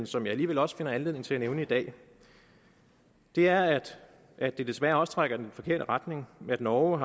som jeg alligevel også finder anledning til at nævne i dag er at at det desværre også trækker i den forkerte retning at norge